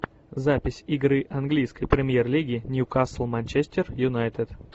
запись игры английской премьер лиги ньюкасл манчестер юнайтед